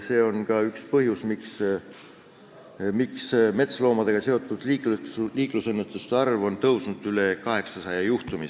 See on ka üks põhjusi, miks metsloomadega seotud liiklusõnnetuste arv on tõusnud üle 800.